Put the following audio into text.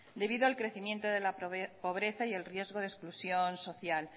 debido al crecimiento de la pobreza y el riesgo de exclusión social